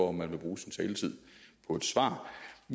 om man vil bruge sin taletid på et svar